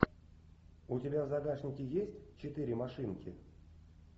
у тебя в загашнике есть четыре машинки